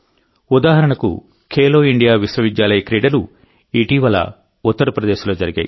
ఉదాహరణకుఖేలో India విశ్వవిద్యాలయ క్రీడలు ఇప్పుడే ఉత్తరప్రదేశ్లో జరిగాయి